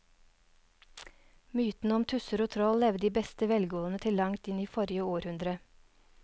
Mytene om tusser og troll levde i beste velgående til langt inn i forrige århundre.